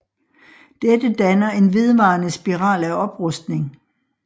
Dette danner en vedvarende spiral af oprustning